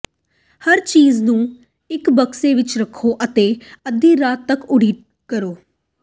ਹਰ ਚੀਜ਼ ਨੂੰ ਇੱਕ ਬਕਸੇ ਵਿੱਚ ਰੱਖੋ ਅਤੇ ਅੱਧੀ ਰਾਤ ਤੱਕ ਉਡੀਕ ਕਰੋ